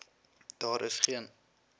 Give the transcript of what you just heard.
daar is geen